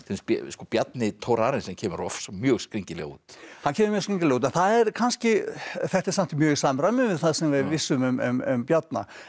Bjarni Thorarensen kemur mjög skringilega út hann kemur mjög skringilega út en það er kannski þetta er samt mjög í samræmi við það sem við vissum um Bjarna en